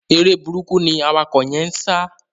Eré burúkú ni awakọ̀ yẹ́n ń sá.